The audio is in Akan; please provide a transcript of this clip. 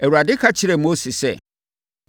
Awurade ka kyerɛɛ Mose sɛ,